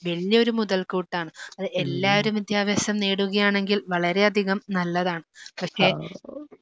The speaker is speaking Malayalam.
വല്യൊരു മുതൽക്കൂട്ടാണ്. അത് എല്ലാരും വിദ്യാഭ്യാസം നേടുകയാണെങ്കിൽ വളരെയധികം നല്ലതാണ് പക്ഷേ